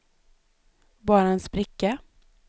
bara en spricka